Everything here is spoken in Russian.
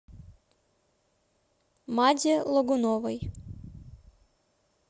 маде логуновой